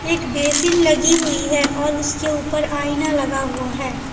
एक बेसिन लगी हुई है और उसके ऊपर आईना लगा हुआ है।